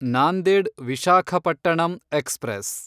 Nanded Visakhapatnam express